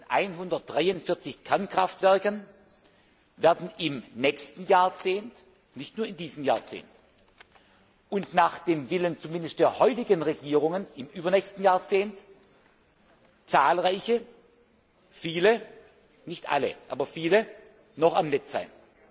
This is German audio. Von 143 Kernkraftwerken werden im nächsten Jahrzehnt nicht nur in diesem Jahrzehnt und nach dem Willen zumindest der heutigen Regierungen im übernächsten Jahrzehnt viele nicht alle, aber viele noch am Netz sein.